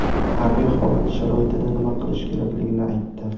harbiy holat sharoitida nima qilish kerakligini aytdi.